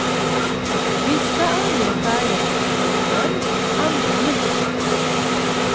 Vissa anger färgämnen med nummer, andra med namn.